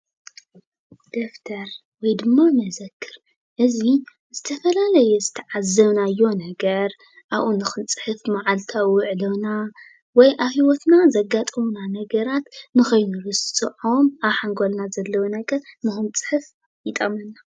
ደፍተር ወይ ድማ መዘክር እዚ ዝተፈላለየ ዝተዓዘብናዮ ነገር ኣብኡ ንክንፅሕፍ መዓልታዊ ዉዕሎና ወይ ኣብ ሂወትና ዘጋጥሙና ነገራት ንከይንርስዖም ኣብ ሓንጎልና ዘለዉ ነገር ንክንፅሕፍ ይጠቅመና።